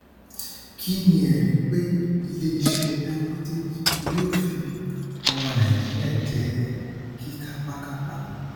kí ni ẹrí pé iléiṣẹ dangote kì yóò fi ọmọ nàìjíríà jẹ kíkápákápá